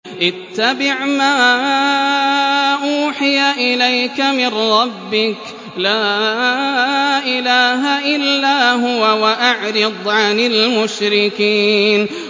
اتَّبِعْ مَا أُوحِيَ إِلَيْكَ مِن رَّبِّكَ ۖ لَا إِلَٰهَ إِلَّا هُوَ ۖ وَأَعْرِضْ عَنِ الْمُشْرِكِينَ